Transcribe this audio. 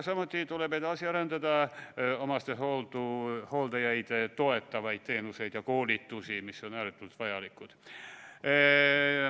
Samuti tuleb edasi arendada omastehooldajaid toetavaid teenuseid ja koolitusi, mis on ääretult vajalikud.